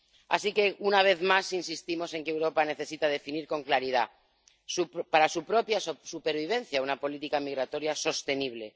Así que, una vez más, insistimos en que Europa necesita definir con claridad, para su propia supervivencia, una política migratoria sostenible.